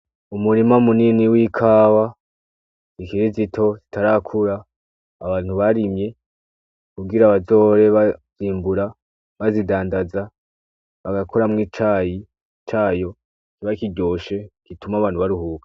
Umurima munini w'ikawa zikiri zito zitarakura abantu barimye kugira bazohore bazimbura bazidandaza abakoramwo icayi cayo kiba kiryoshe gituma abantu baruhuka.